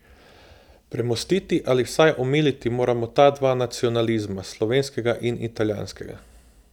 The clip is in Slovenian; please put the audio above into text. Premostiti ali vsaj omiliti moramo ta dva nacionalizma, slovenskega in italijanskega.